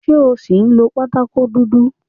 Ṣé o ṣì ń lo pátákó dúdú?